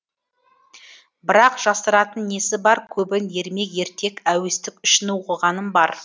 бірақ жасыратын несі бар көбін ермек ертек әуестік үшін оқығаным бар